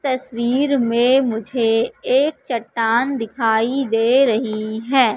तस्वीर में मुझे एक चट्टान दिखाई दे रही है।